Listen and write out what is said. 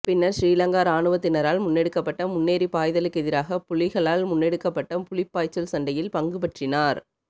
பின்னர் ஸ்ரீலங்கா இராணுவத்தினரால் முன்னெடுக்கப்பட்ட முன்னேறிப் பாய்தலுக்கெதிராக புலிகளால் முன்னெடுக்கப்பட்ட புலிப்பாய்ச்சல் சண்டையில் பங்குபற்றினார்